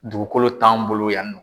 Dugukolo t'an bolo yannɔ.